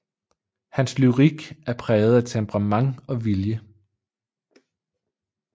Hans Lyrik er præget af Temperament og Vilje